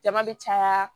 Jama bɛ caya